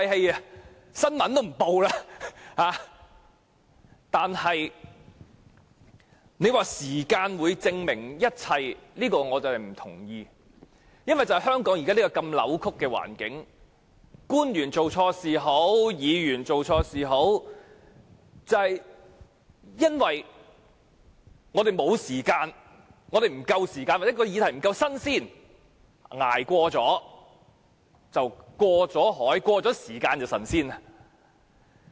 若說時間可以證明一切，我對此並不同意。因為在香港現時扭曲的環境下，官員或議員做錯事後，往往由於我們沒有足夠時間又或議題不夠新鮮，以致他們只要能捱過一段時間便可脫身。